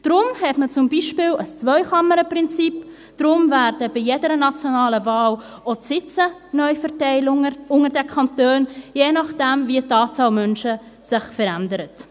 Deshalb hat man zum Beispiel ein Zwei-Kammern-Prinzip, deshalb werden bei jeder nationalen Wahl auch die Sitze neu unter den Kantonen verteilt, je nachdem, wie sich die Anzahl Menschen verändert.